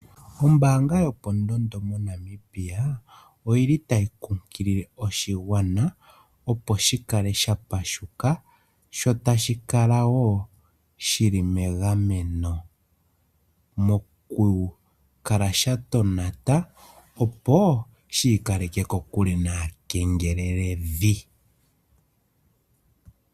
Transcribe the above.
Ombanga yopondondo moNamibia oyi li tayi kunkilile oshigwana opo shi kale sha pashuka sho tashi kalawo shi li megameno mokukala sha tonata opo shiikaleke kokule naakengeleledhi.